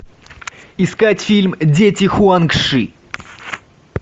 искать фильм дети хуанг ши